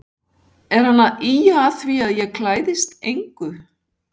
Er hann að ýja að því að ég klæðist engu?